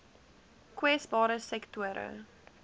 kwesbare sektore